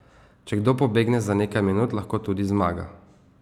Če kdo pobegne za nekaj minut, lahko tudi zmaga.